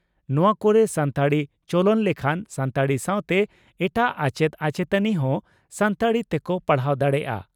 ᱱᱚᱣᱟ ᱠᱚᱨᱮ ᱥᱟᱱᱛᱟᱲᱤ ᱪᱚᱞᱚᱱ ᱞᱮᱠᱷᱟᱱ ᱥᱟᱱᱛᱟᱲᱤ ᱥᱟᱣᱛᱮ ᱮᱴᱟᱜ ᱟᱪᱮᱛ ᱟᱪᱮᱛᱟᱹᱱᱤ ᱦᱚᱸ ᱥᱟᱱᱛᱟᱲᱤ ᱛᱮᱠᱚ ᱯᱟᱲᱦᱟᱣ ᱫᱟᱲᱮᱭᱟᱜᱼᱟ ᱾